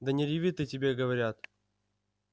да не реви ты тебе говорят